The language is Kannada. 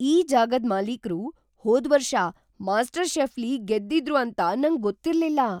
ಈ ಜಾಗದ್ ಮಾಲೀಕ್ರು ಹೋದ್ವರ್ಷ ಮಾಸ್ಟರ್ ಷೆಫ್‌ಲಿ ಗೆದ್ದಿದ್ರು ಅಂತ ನಂಗೊತ್ತಿರ್ಲಿಲ್ಲ!